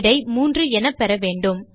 விடை 3 என பெறவேண்டும்